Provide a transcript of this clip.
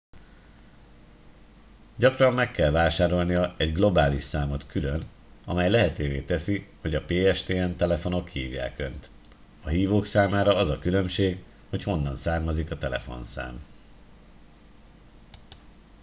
gyakran meg kell vásárolnia egy globális számot külön amely lehetővé teszi hogy a pstn telefonok hívják önt a hívók számára az a különbség hogy honnan származik a telefonszám